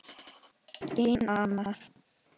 Þín Anna.